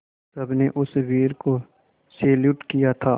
सबने उस वीर को सैल्यूट किया था